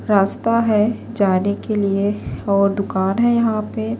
.راستہ ہیں جانے کے لئے یہاں پہ اور دکانی ہیں